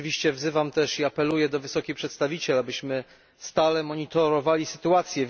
Wzywam też i apeluję do wysokiej przedstawiciel, abyśmy stale monitorowali sytuację.